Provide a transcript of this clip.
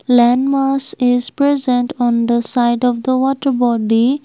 land mass is present on the side of the water body.